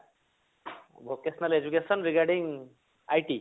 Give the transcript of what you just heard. vocational education regarding IT